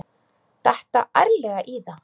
Detta ærlega í það.